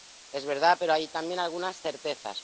Es verdad, pero hay también algunas certezas.